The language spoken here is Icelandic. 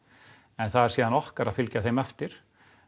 en það er síðan okkar að fylgja þeim eftir